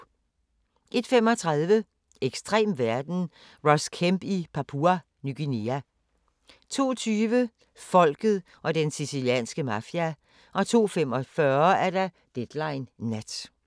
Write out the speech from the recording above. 01:35: Ekstrem verden – Ross Kemp i Papua Ny Guinea 02:20: Folket og den sicilianske mafia 02:45: Deadline Nat